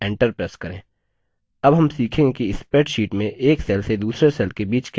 अब हम सीखेंगे कि spreadsheet में एक cells से दूसरे cells के बीच कैसे जाएँ